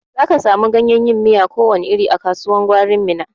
Za ka samu ganyen yin miya ko wani iri a kasuwan gwarin Minna.